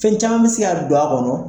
Fɛn caman bɛ se ka don a kɔnɔ